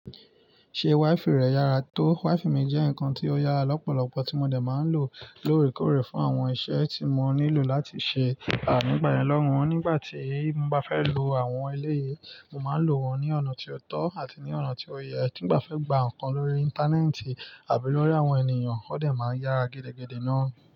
Ṣe WiFi rẹ yára tó? WiFi mi jẹ́ nǹkan tí ó yára lọ́pọ̀lọpọ̀ tí mo dè máa ń lò lórèkórè fún àwọn iṣẹ́ tí mo nílò láti ṣe à nigba yẹn lọ́wun. Nígbà tí n bá fẹ́ lo àwọn eléyi, mo máa ń lò wọ́n ní ọ̀nà tí ó tọ́ àti ní ọ̀nà tí ó yẹ. Tí n bá fẹ́ gba nǹkan lórí Íńtánẹ́ẹ̀tì àbí lórí àwọn ènìyàn, ó de máa ń yára gẹ́dẹ́gẹ́dẹ́ ná.